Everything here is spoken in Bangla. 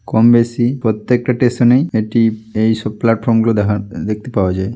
কম বেশি প্রত্যেকটা টেশন এই এটি এইসব প্লাটফর্ম গুলো দেখা দেখতে পাওয়া যায়।